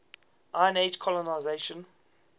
iron age colonisation